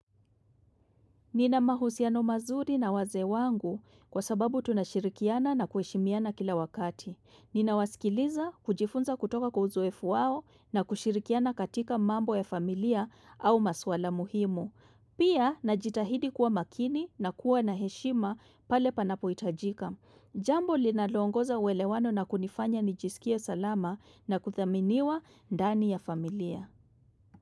Nina mahusiano mazuri na wazee wangu kwa sababu tunashirikiana na kuheshimiana kila wakati. Nina wasikiliza kujifunza kutoka kwa uzoefu wao na kushirikiana katika mambo ya familia au maswala muhimu. Pia najitahidi kuwa makini na kuwa na heshima pale panapohitajika. Jambo linaloongoza uelewano na kunifanya nijisikie salama na kuthaminiwa ndani ya familia.